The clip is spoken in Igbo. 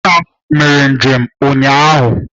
Nna m mere njem ụnyahụ